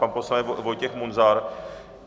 Pan poslanec Vojtěch Munzar.